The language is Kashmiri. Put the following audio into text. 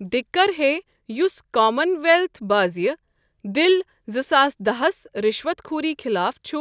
دِککَر ہے یُس کامن ویلٕتھ بٲزیہٕ، دِل ۲۰۱۰ ہَس رِشوتھ خوری خلاف چھُ